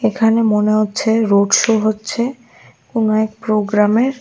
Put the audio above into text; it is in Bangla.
এখানে মনে হচ্ছে রোড শো হচ্ছে কোন এক প্রোগ্রামের।